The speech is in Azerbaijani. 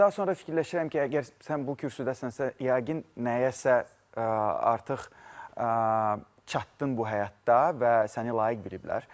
Amma daha sonra fikirləşirəm ki, əgər sən bu kürsüdəsənsə, yəqin nəyəsə artıq çatdın bu həyatda və səni layiq biliblər.